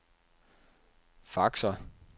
faxer